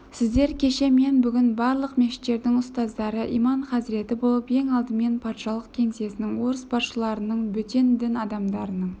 сіздер кеше мен бүгін барлық мешіттердің ұстаздары иман-хазіреті болып ең алдымен патшалық кеңсесінің орыс басшыларының бөтен дін адамдарының